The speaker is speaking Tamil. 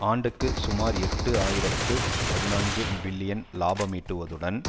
ஆண்டுக்கு சுமார் எட்டு ஆயிரத்தி பதினான்கு பில்லியன் இலாபமீட்டுவதுடன்